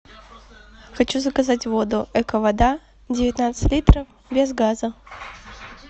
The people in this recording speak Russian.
хочу заказать воду эко вода девятнадцать литров без газа